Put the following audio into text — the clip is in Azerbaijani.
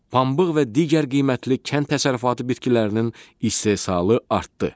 Pambıq və digər qiymətli kənd təsərrüfatı bitkilərinin istehsalı artdı.